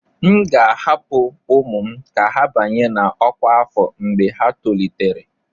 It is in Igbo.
M ga-ahapụ ụmụ m ka ha banye na ọkwa afọ mgbe ha tolitere.